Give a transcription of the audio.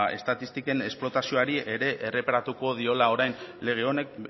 estatistiken esplotazioari ere erreparatuko diola orain lege honek